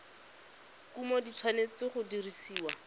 kumo di tshwanetse go dirisiwa